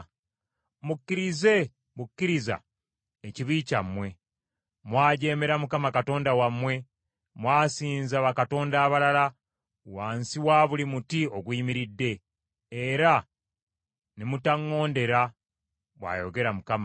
Mukkirize bukkiriza ekibi kyammwe, mwajeemera Mukama Katonda wammwe, mwasinza bakatonda abalala, wansi wa buli muti oguyimiridde, era ne mutaŋŋondera,’ ” bw’ayogera Mukama .